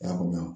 I y'a faamuya